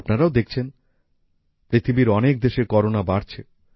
আপনারাও দেখছেন পৃথিবীর অনেক দেশে করোনা বাড়ছে